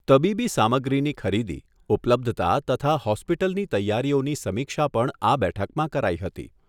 તબીબી સામગ્રીની ખરીદી, ઉપલબ્ધતા તથા હોસ્પિટલની તૈયારીઓની સમીક્ષા પણ આ બેઠકમાં કરાઈ હતી.